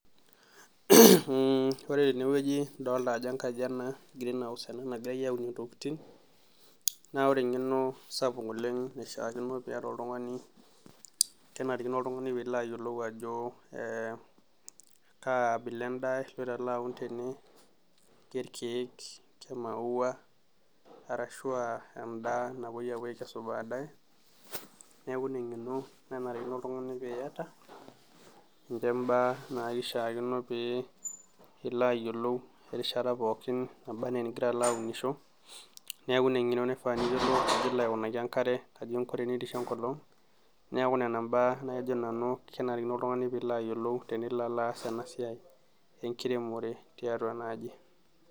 Muuh ore tenewoji idoolta ajo enkaji ena green house ena nagirai aaun intokitin, naa ore enkeno sapuk oleng' naishaa kino peeta oltungani, kenkaraki oltungani piilo ayiolou ajo kaabila entaa igira alo aun tene, ke ilkeek, ke imaua ashua aa endaa napoi aakesu baadaye, neeku ina enkeno nanarikino ltunganak piyata. Ninje imbaa naishaakino pee ilo ayiolou, erishata pookin naba enaa enigira aunisho, neeku ina enkeno pilo alo aayiolou eninkunaki enkare enkolong',neeku nena imbaa najo nanu kenarikino oltungani piilo aayiolou, tenilo oalo aas enasiai enkiremore tiatua ena aji.